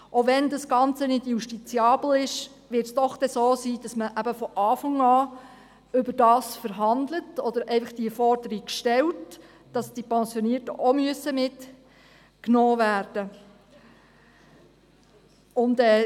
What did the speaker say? Auch wenn das Ganze nicht justiziabel ist, wird es dann doch so sein, dass man eben von Beginn an darüber verhandelt oder diese Forderung einfach stellt, dass die Pensionierten auch mitgenommen werden müssen.